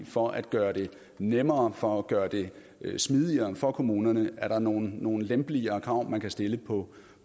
for at gøre det nemmere for at gøre det smidigere for kommunerne og er der nogle nogle lempeligere krav man kan stille på